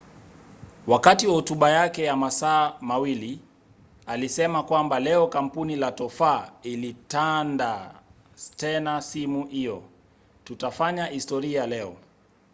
wakati wa hotuba yake ya masaa 2 alisema kwamba leo kampuni la tofaa itaandaa tena simu hiyo tutafanya historia leo